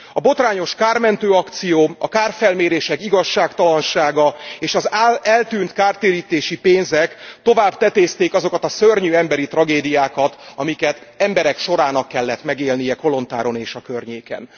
A botrányos kármentő akció, a kárfelmérések igazságtalansága, és az eltűnt kártérítési pénzek tovább tetézték azokat a szörnyű emberi tragédiákat, amelyeket emberek sorának kellett megélnie Kolontáron és a környéken.